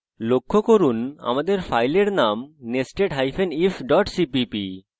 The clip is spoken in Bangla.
লক্ষ্য করুন যে আমাদের file name nestedif cpp